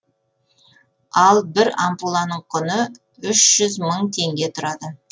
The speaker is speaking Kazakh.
ал бір ампуланың құны үш жүз мың теңге тұрады